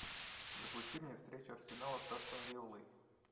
запусти мне встречу арсенала с астон виллой